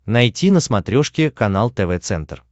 найти на смотрешке канал тв центр